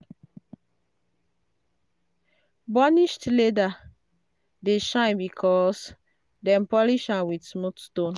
burnished leather dey shine because dem polish am with smooth stone.